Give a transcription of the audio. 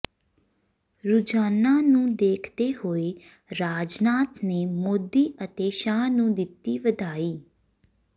ਰੁਝਾਨਾਂ ਨੂੰ ਦੇਖਦੇ ਹੋਏ ਰਾਜਨਾਥ ਨੇ ਮੋਦੀ ਅਤੇ ਸ਼ਾਹ ਨੂੰ ਦਿੱਤੀ ਵਧਾਈ